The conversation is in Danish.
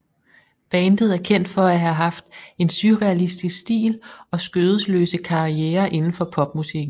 Bandet er kendt for at have haft en surrealistisk stil og skødesløse karrierer inden for popmusikken